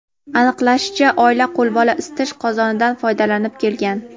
Aniqlanishicha, oila qo‘lbola isitish qozonidan foydalanib kelgan.